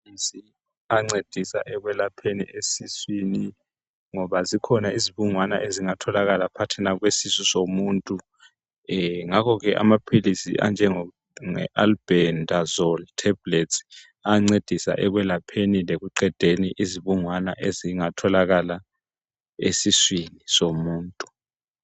ngamaphilisi ancedisa ekwelapheni esiswini ngoba zikhona izibungana ezingatholakala phakathina kwesisu somuntu ngakho ke amaphilisi anjenge albendazole tablets ayancedisa ekwelapheni lokuqedeni izibungwana esiswini somuntu